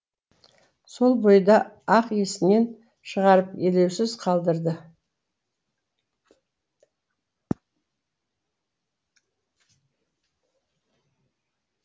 сол бойда ақ есінен шығарып елеусіз қалдырады